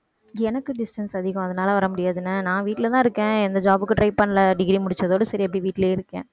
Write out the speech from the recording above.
எனக்கு distance அதிகம் அதனால வர முடியாதுன்னா நான் வீட்டுலதான் இருக்கேன். எந்த job க்கும் try பண்ணல degree முடிச்சதோட சரி அப்படியே வீட்டுலயே இருக்கேன்.